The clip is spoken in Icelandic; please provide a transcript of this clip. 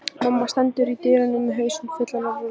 Mamma stendur í dyrunum með hausinn fullan af rúllum.